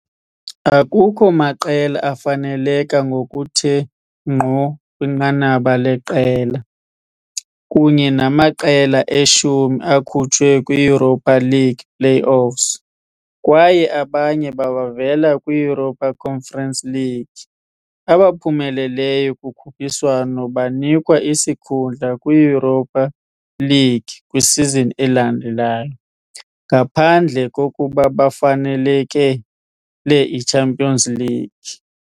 Akukho maqela afanelekela ngokuthe ngqo kwinqanaba leqela, kunye namaqela e-10 akhutshwe kwi-Europa League play-offs kwaye abanye bavela kwi-Europa Conference League. Abaphumeleleyo kukhuphiswano banikwa isikhundla kwi-Europa League kwisizini elandelayo, ngaphandle kokuba bafanelekele i-Champions League.